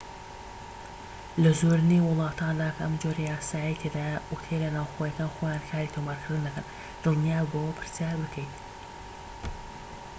لە زۆرینەی وڵاتاندا کە ئەم جۆرە یاسایەی تێدایە، ئوتێلە ناوخۆییەکان خۆیان کاری تۆمارکردن دەکەن دڵنیاببەوە پرسیار بکەیت